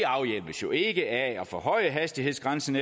jo ikke af at forhøje hastighedsgrænsen